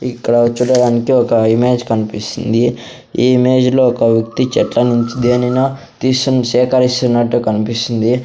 ఇక్కడ చూడడానికి ఒక ఇమేజ్ కనిపిస్తుంది ఈ ఇమేజ్లో ఒక వ్యక్తి చెట్ల నుంచి దేనినో తీస్తున్న సేకరిస్తున్నట్లు కనిపిస్తుంది.